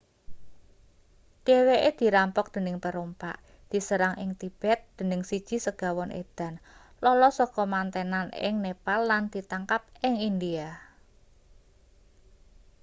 dheweke dirampok dening perompak diserang ing tibet dening siji segawon edan lolos saka mantenan ing nepal lan ditangkap ing india